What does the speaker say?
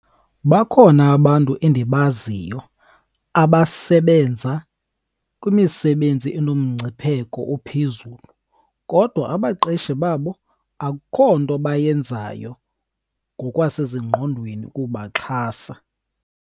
Bakhona abantu endibaziyo abasebenza kwimisebenzi unomngcipheko ophezulu, kodwa abaqeshi babo akukho nto bayenzayo ngokwasezingqondweni ukubaxhasa.